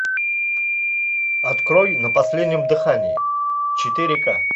открой на последнем дыхании четыре ка